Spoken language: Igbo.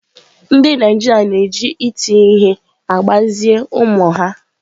Ndị Naijiria na-eji iti ihe na-agbazi ụmụ ha